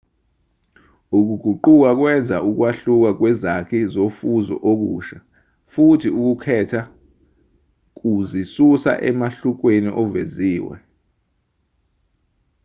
ukuguquka kwenza ukwahluka kwezakhi zofuzo okusha futhi ukukhetha kuzisusa emehlukweni oveziwe